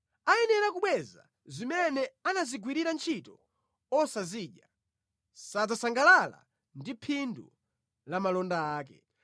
Ayenera kubweza zimene anazigwirira ntchito osazidya; sadzasangalala ndi phindu la malonda ake.